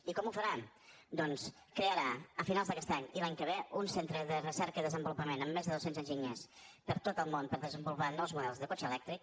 i com ho faran doncs crearà a finals d’aquest any i l’any que ve un centre de recerca i desenvolupament amb més de dos cents enginyers per tot el món per desenvolupar nous models de cotxe elèctric